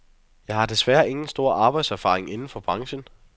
Jeg har desværre ingen stor arbejdserfaring inden for branchen.